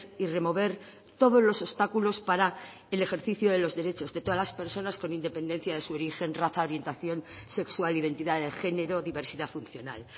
y remover todos los obstáculos para el ejercicio de los derechos de todas las personas con independencia de su origen raza orientación sexual identidad de género o diversidad funcional